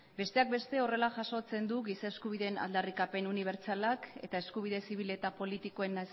besteak beste horrela jasotzen du giza eskubideen aldarrikapen unibertsalak eta eskubide zibil eta politikoen